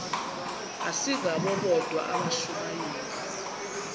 asingabo bodwa abashumayeli